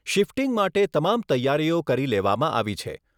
Shifting માટે તમામ તૈયારીઓ કરી લેવામાં આવી છે.